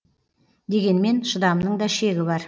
дегенмен шыдамның да шегі бар